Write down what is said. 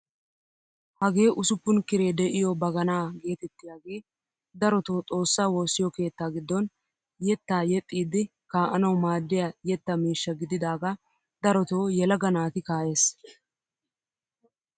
Hageeusuppun kiree de'iyoo baganaa getettiyaagee darotoo xoossaa woossiyoo keettaa giddon yettaa yeexxiidi kaa'anawu maaddiyaa yettaa miishsha gididagaa darotoo yelaga naati ka"ees!